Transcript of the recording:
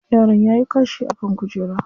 Yaron yayi kashi a kan kujera.